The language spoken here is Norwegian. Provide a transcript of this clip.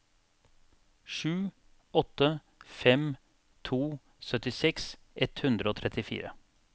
sju åtte fem to syttiseks ett hundre og trettifire